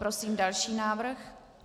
Prosím další návrh.